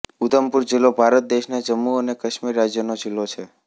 ઉધમપુર જિલ્લો ભારત દેશના જમ્મુ અને કાશ્મીર રાજ્યનો જિલ્લો છે